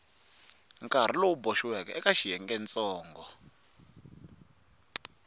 nkarhi lowu boxiweke eka xiyengentsongo